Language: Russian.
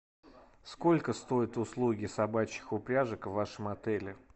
сколько стоят услуги собачьих упряжек в вашем отеле